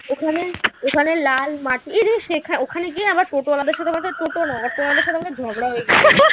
ওখানে ওখানে লাল মাটি ওখানে গিয়ে আবার টোটোঅলাদের সাথে টোটো না auto অলাদের সাথে আমদের ঝগড়া হয়ে গেছিল।